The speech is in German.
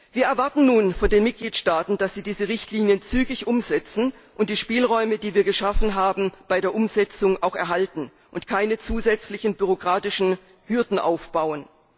Wir erwarten nun von den Mitgliedstaaten, dass sie diese Richtlinien zügig umsetzen und die Spielräume, die wir geschaffen haben, bei der Umsetzung auch erhalten und keine zusätzlichen bürokratischen Hürden aufbauen.